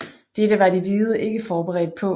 Dette var de hvide ikke forberedt på